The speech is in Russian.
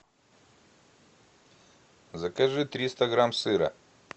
закажи триста грамм сыра